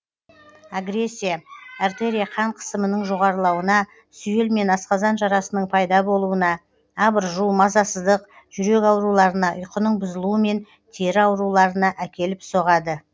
агрессия артерия қан қысымының жоғарылауына сүйел мен асқазан жарасының пайда болуына абыржу мазасыздық жүрек ауруларына ұйқының бұзылуы мен тері ауруларына әкеліп соғады